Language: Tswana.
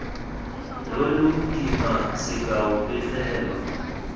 lo lo kimana sekao pegelo